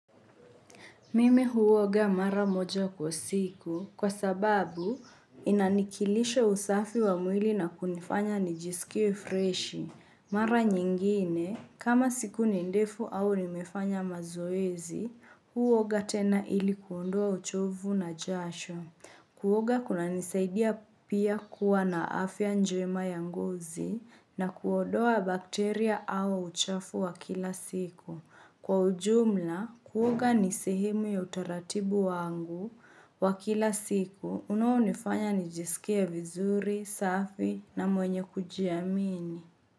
Mimi huoga mara moja kwa siku kwasababu inanikilishe usafi wa mwili na kunifanya nijiskie freshi. Mara nyingine, kama siku ni ndefu au nimefanya mazoezi, huoga tena ili kuondua uchovu na jasho. Kuoga kunanisaidia pia kuwa na afya njema ya ngozi na kuodoa bakteria au uchafu wa kilasiku. Kwa ujumla, kuoga ni sehemu ya utaratibu wangu wa kila siku, unaonifanya nijiskie vizuri, safi na mwenye kujiamini.